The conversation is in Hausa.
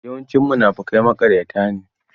Yawancin munafukai maƙaryata ne.